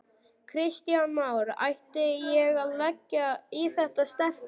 Kristján Már: Ætti ég að leggja í þetta sterka?